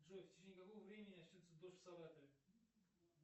джой в течении какого времени начнется дождь в саратове